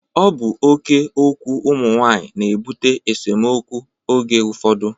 Ọ bụ oké okwu ụmụ nwaanyị na-ebute esemokwu oge ụfọdụ